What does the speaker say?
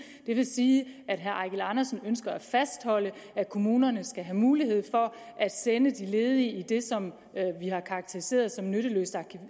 det vil sige at herre eigil andersen ønsker at fastholde at kommunerne skal have mulighed for at sende de ledige i det som vi har karakteriseret som nytteløs